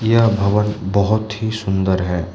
यह भवन बहोत ही सुंदर है।